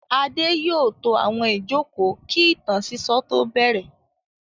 Adé yóò to àwọn ìjókòó kí ìtàn sísọ tó bẹ̀rẹ̀.